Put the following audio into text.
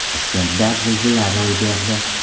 Toshkentda zilzila ro‘y berdi.